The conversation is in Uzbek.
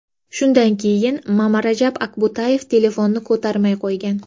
Shundan keyin Mamarajab Akbutayev telefonni ko‘tarmay qo‘ygan.